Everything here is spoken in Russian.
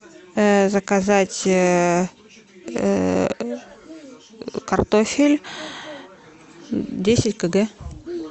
заказать картофель десять кг